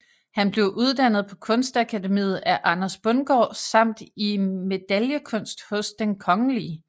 Han blev uddannet på Kunstakademiet af Anders Bundgaard samt i medaillekunst hos Den Kgl